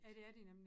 Ja det er de nemlig